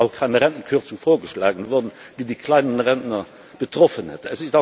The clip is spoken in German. Und es ist auch keine Rentenkürzung vorgeschlagen worden, die die kleinen Rentner betroffen hätte.